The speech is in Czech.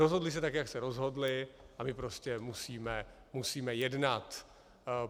Rozhodli se tak, jak se rozhodli, a my prostě musíme jednat.